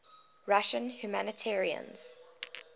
russian humanitarians